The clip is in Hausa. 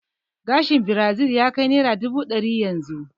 Gashin birazil ya kai naira dubu ɗari yanzu